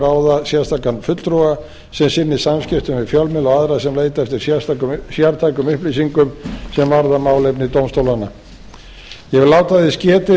ráða sérstakan fulltrúa sem sinni samskiptum við fjölmiðla og aðra sem leita eftir sértækum upplýsingum sem varða málefni dómstólanna ég vil láta þess getið